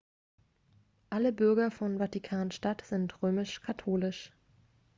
alle bürger von vatikan-stadt sind römisch-katholisch